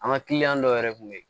An ka kiliyan dɔw yɛrɛ tun bɛ yen